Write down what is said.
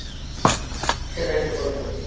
সেটাই তো করবে